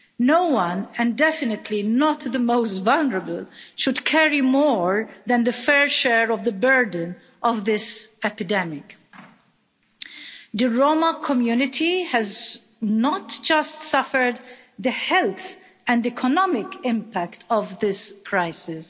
No one, and definitely not the most vulnerable, should carry more than the fair share of the burden of this epidemic. The Roma community has suffered not just the health and economic impact of this crisis.